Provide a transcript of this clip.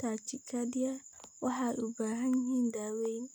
tachycardia ma waxay u baahan yihiin daaweyn?